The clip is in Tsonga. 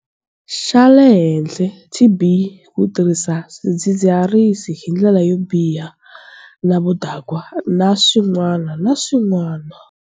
Xa le henhla, TB, ku tirhisa swidzidziharisi hi ndlela yo biha na vudakwa, na swin'wana na swin'wana.